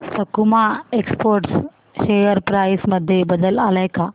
सकुमा exports share price मध्ये बदल आलाय का